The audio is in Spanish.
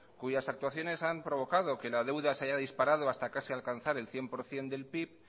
cuyas actuaciones han provocado que la deuda se haya disparado hasta casi alcanzar el cien por ciento del pib